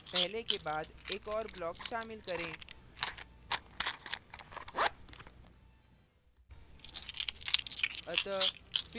class a में पहले के बाद एक और block शामिल करें